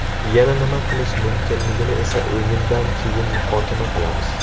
Yana nima qilish mumkinligini esa o‘yindan keyin muhokama qilamiz.